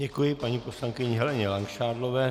Děkuji paní poslankyni Heleně Langšádlové.